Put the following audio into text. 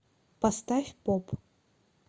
поставь поп